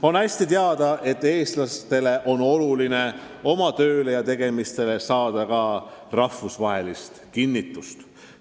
On hästi teada, et Eestiski on oluline oma töödele ja tegemistele saada ka rahvusvahelist tunnustust.